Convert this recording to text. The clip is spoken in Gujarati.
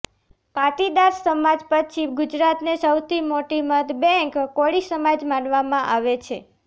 પાટીદાર સમાજ પછી ગુજરાતને સૌથી મોટી મત બેંક કોળી સમાજ માનવામાં આવે છે